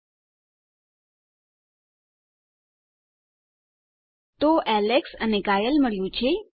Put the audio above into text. તો આપણને એલેક્સ અને કાયલે મળ્યું છે